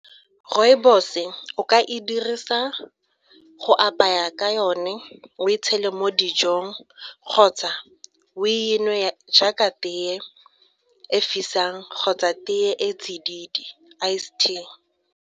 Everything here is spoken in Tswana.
Rooibos-e o ka e dirisa go apaya ka yone, o e tshele mo dijong kgotsa o e nwe jaaka tee e fisang kgotsa tee e tsididi ice tea.